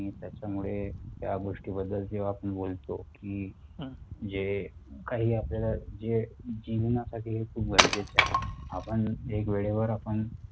त्या गोष्टी बद्दल जेव्हा आपण बोलतो की जे काही आपल्या ला जे जीवना साठी हे खूप गरजेचे आहे. आपण एक वेळेवर आपण